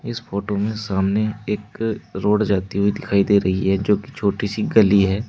इस फोटो में सामने एक रोड जाती हुई दिखाई दे रही है जोकि छोटी सी गली है।